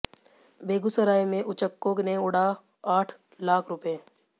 बेगूसराय में उचक्कों ने उड़ा आठ लाख रुपए